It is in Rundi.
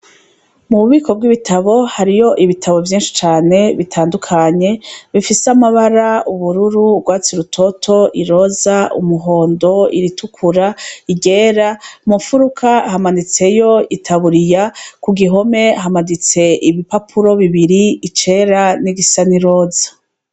Mu bubiko bw'ibitabo harimwo ibitabo vyishi cane bitandukanye bifise amabara y'ubururu urwatsi rutoto, iroza, umuhondo, iritukura, iryera mu nfuruka hamanitseyo itaburiya ku ruhome hamaditse ibipapuro bibiri icera nigisa n'iroza.